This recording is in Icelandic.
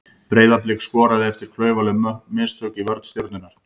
Breiðablik skoraði eftir klaufaleg mistök í vörn Stjörnunnar.